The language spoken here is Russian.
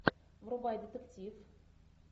врубай детектив